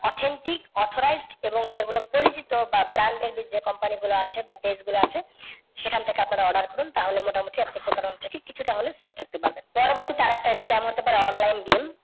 authentic, authorised এবং যেগুলো পরিচিত বা branded যে company গুলো আছে বা page গুলো আছে সেখান থেকে আপনারা order করুন তাহলে মোটামুটি আপনারা প্রতারনা থেকে কিছুটা হলেও safe থাকতে পারবেন। পরবর্তী আর একটা scam হতে পারে online game